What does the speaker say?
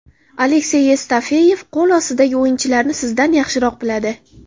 Aleksey Yevstafeyev qo‘l ostidagi o‘yinchilarni sizdan yaxshiroq biladi.